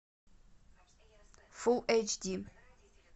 фул эйч ди